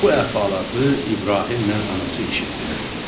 Bu əhvalatı İbrahimlə anası eşitdilər.